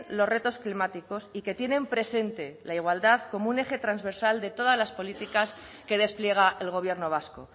los retos climáticos y que tienen presente la igualdad como un eje transversal de todas las políticas que despliega el gobierno vasco